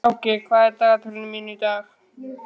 Áki, hvað er í dagatalinu mínu í dag?